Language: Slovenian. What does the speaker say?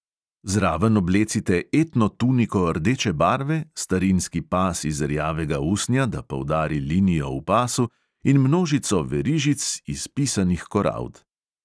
Zraven oblecite etno tuniko rdeče barve, starinski pas iz rjavega usnja, da poudari linijo v pasu, in množico verižic iz pisanih korald.